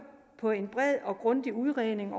på en bred og grundig udredning